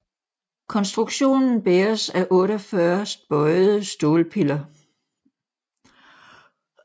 Konstruktionen bæres af 48 bøjede stålpiller